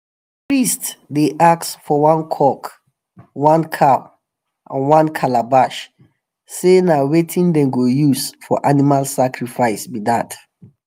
the priest dey ask for one cock one cow and one calabash say na wetin them go use for animal sacrifice be that.